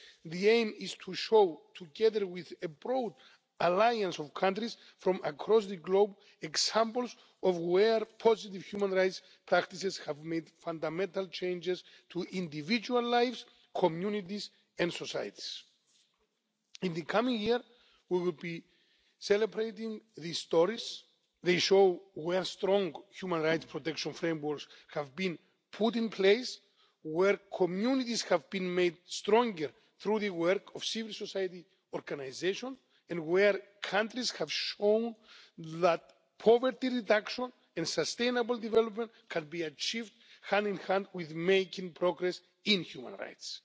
The aim is to show, together with a broad alliance of countries from across the globe, examples of where positive human rights practices have made fundamental changes to individual lives, communities and societies. In the coming year we will be celebrating these stories. They show where strong human rights protection frameworks have been put in place, where communities have been made stronger through the work of civil society organisations and where countries have shown that poverty reduction and sustainable development can be achieved hand in hand with making progress in human rights.